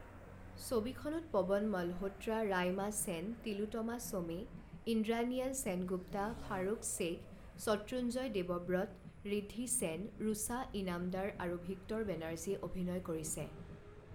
ছবিখনত পৱন মালহোত্ৰা, ৰাইমা সেন, তিলোতমা শ্বোমে, ইন্দ্ৰানিয়েল সেনগুপ্তা, ফাৰুক শ্বেখ, শত্ৰুঞ্জয় দেৱব্ৰত, ৰিদ্ধি সেন, ৰুচা ইনামদাৰ আৰু ভিক্টৰ বেনাৰ্জীয়ে অভিনয় কৰিছে।